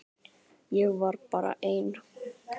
Ég var bara ein.